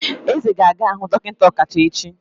Eze ga-aga hu dokinta okacha echi.